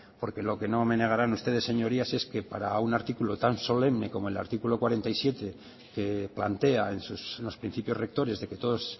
porque lo que no me negarán ustedes señorías es que para un artículo tan solemne como el artículo cuarenta y siete que plantea esos en los principios rectores de que todos